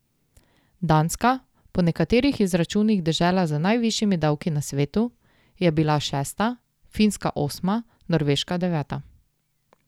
Danska, po nekaterih izračunih dežela z najvišjimi davki na svetu, je bila šesta, Finska osma, Norveška deveta.